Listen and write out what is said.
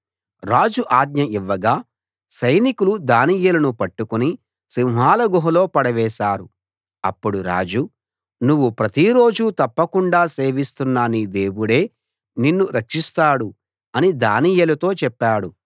రాజు ఆజ్ఞ ఇవ్వగా సైనికులు దానియేలును పట్టుకుని సింహాల గుహలో పడవేశారు అప్పుడు రాజు నువ్వు ప్రతిరోజూ తప్పకుండా సేవిస్తున్న నీ దేవుడే నిన్ను రక్షిస్తాడు అని దానియేలుతో చెప్పాడు